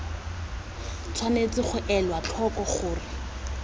tshwanetse ga elwa tlhoko gore